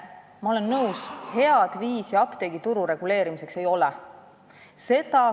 Ma olen nõus, et head viisi apteegituru reguleerimiseks ei ole.